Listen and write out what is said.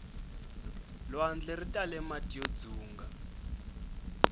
lwandle ritale mati yo dzunga